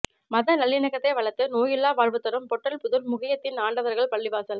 மத நல்லிணக்கத்தை வளர்த்து நோயில்லா வாழ்வுதரும் பொட்டல்புதூர் முகைய்யத்தீன் ஆண்டவர்கள் பள்ளிவாசல்